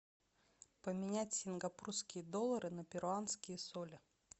поменять сингапурские доллары на перуанские соли